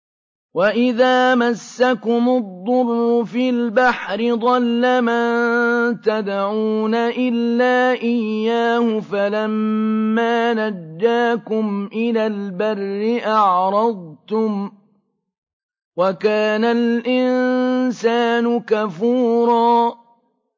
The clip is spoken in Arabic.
وَإِذَا مَسَّكُمُ الضُّرُّ فِي الْبَحْرِ ضَلَّ مَن تَدْعُونَ إِلَّا إِيَّاهُ ۖ فَلَمَّا نَجَّاكُمْ إِلَى الْبَرِّ أَعْرَضْتُمْ ۚ وَكَانَ الْإِنسَانُ كَفُورًا